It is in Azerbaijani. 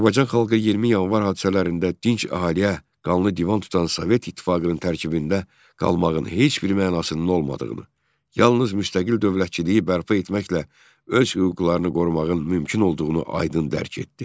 Azərbaycan xalqı 20 Yanvar hadisələrində dinc əhaliyə qanlı divan tutan Sovet İttifaqının tərkibində qalmağın heç bir mənasının olmadığını, yalnız müstəqil dövlətçiliyi bərpa etməklə öz hüquqlarını qorumağın mümkün olduğunu aydın dərk etdi.